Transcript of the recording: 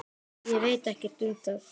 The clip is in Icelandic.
Ég veit ekkert um það.